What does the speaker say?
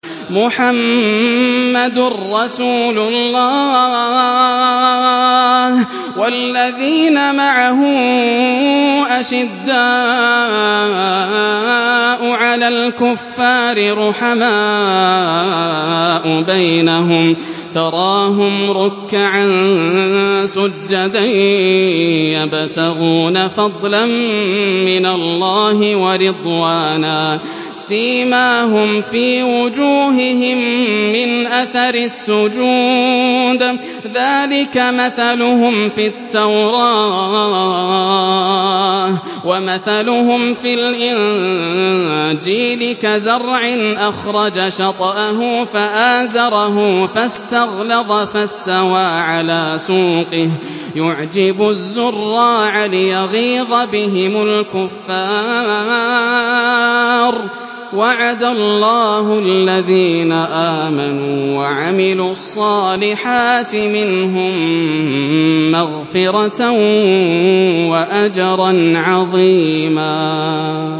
مُّحَمَّدٌ رَّسُولُ اللَّهِ ۚ وَالَّذِينَ مَعَهُ أَشِدَّاءُ عَلَى الْكُفَّارِ رُحَمَاءُ بَيْنَهُمْ ۖ تَرَاهُمْ رُكَّعًا سُجَّدًا يَبْتَغُونَ فَضْلًا مِّنَ اللَّهِ وَرِضْوَانًا ۖ سِيمَاهُمْ فِي وُجُوهِهِم مِّنْ أَثَرِ السُّجُودِ ۚ ذَٰلِكَ مَثَلُهُمْ فِي التَّوْرَاةِ ۚ وَمَثَلُهُمْ فِي الْإِنجِيلِ كَزَرْعٍ أَخْرَجَ شَطْأَهُ فَآزَرَهُ فَاسْتَغْلَظَ فَاسْتَوَىٰ عَلَىٰ سُوقِهِ يُعْجِبُ الزُّرَّاعَ لِيَغِيظَ بِهِمُ الْكُفَّارَ ۗ وَعَدَ اللَّهُ الَّذِينَ آمَنُوا وَعَمِلُوا الصَّالِحَاتِ مِنْهُم مَّغْفِرَةً وَأَجْرًا عَظِيمًا